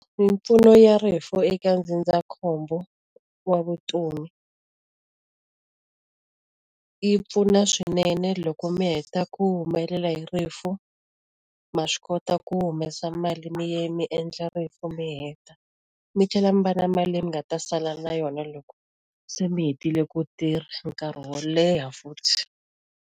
Mimpfuno ya rifu eka ndzindzakhombo wa vutomi yi pfuna swinene loko mi heta ku humelela hi rifu, ma swi kota ku humesa mali mi mi endla rifu mi heta. Mi tlhela mi va na mali leyi mi nga ta sala na yona loko se mi hetile ku tirha, for nkarhi wo leha futhi.